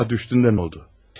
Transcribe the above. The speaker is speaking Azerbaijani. Sokağa düşdüyündə nə oldu?